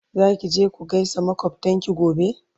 Zaki je ku gaisa makwaftanki gobe?